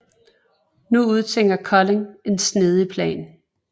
Nu udtænker Collin en snedig plan